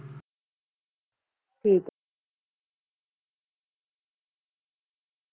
ਠੀਕ ਹੈ